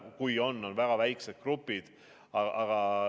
Kui on, on väga väikesed grupid.